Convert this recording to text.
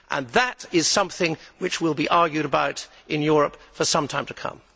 That is something which will be argued about in Europe for some time to come.